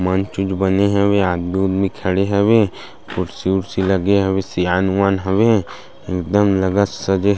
मंच ऊंच बने हवे आदमी उदमी खड़े हवे कुर्सी उर्सी लगे हवे सियान उआन हवे एकदम लगतसे --